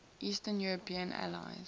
eastern european allies